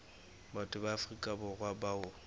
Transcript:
batho ba afrika borwa bao